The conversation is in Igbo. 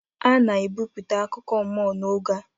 A na-ebipụta akụkọ mmụọ n'oge a